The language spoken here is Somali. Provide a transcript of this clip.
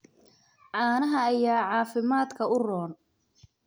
Caanaha ayaa caafimaadka u roon.